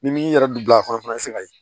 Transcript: Ni min yɛrɛ don a kɔnɔ o fana ye